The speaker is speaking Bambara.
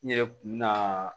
N yɛrɛ kun mi na